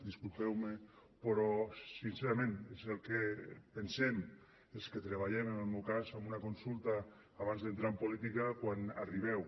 disculpeu me però sincerament és el que pensem els que treballem en el meu cas en una consulta abans d’entrar en política quan arribeu